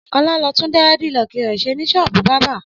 Ọlá lọ tún dẹ́rẹ́dilọkì rẹ̀ ṣe ní ṣọ́ọ́bù bábà.